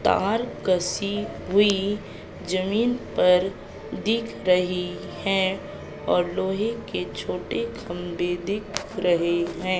तार कसी हुई जमीन पर दिख रही है और लोहे के छोटे खंभे दिख रहे हैं।